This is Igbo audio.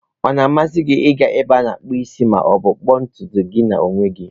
Ọ na-amasị gị ịga na-ebe ana akpu isi ma ọ bụ ịkpụ ntutu gị na onwe gi?